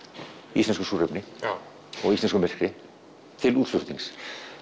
íslensku súrefni og íslensku myrkri til útflutnings